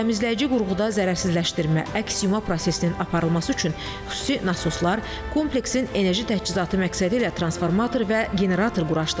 Təmizləyici qurğuda zərərsizləşdirmə, əks yuma prosesinin aparılması üçün xüsusi nasoslar, kompleksin enerji təchizatı məqsədilə transformator və generator quraşdırılıb.